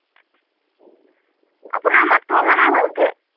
আপোনাৰ মাতটো অহা নাই ভালকৈ।